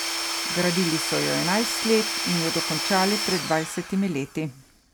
Gradili so jo enajst let in jo dokončali pred dvajsetimi leti.